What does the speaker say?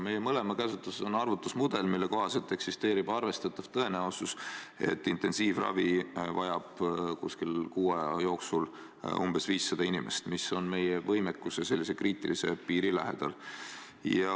Meie mõlema käsutuses on arvutusmudel, mille kohaselt eksisteerib arvestatav tõenäosus, et intensiivravi vajab kuskil kuu aja jooksul umbes 500 inimest, mis on meie võimekuse kriitilise piiri lähedal.